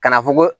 Ka na fɔ ko